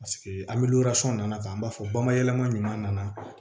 Paseke an bɛ nana k'an b'a fɔ bamayɛlɛma ɲuman nana